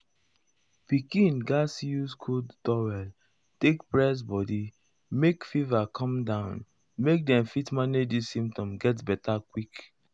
pikin gatz use cold towel take press body make fever come down make dem fit manage di symptoms get beta quick.